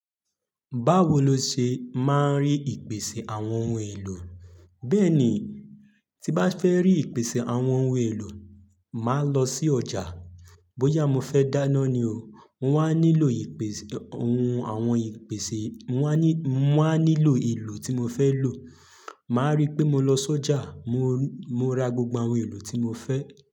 Báwo ló ṣe máa ń rí ìpèsè àwọn ohun èlò? Bẹ́ẹ̀ ni, tí bá fẹ́ rí ìpèsè àwọn ohun èlò, mo máa ń lọ sí ọjà. Bóyá mo fẹ́ dáná ni o, mo wá nílò ìpèsè ohun àwọn ìpèsè, mo wá nílò ohun èlò tí mo fẹ́ lò. Màá rí pé mo lọ sí ọjà, màá rí pé mo ra gbogbo ohun èlò tí mo fẹ́.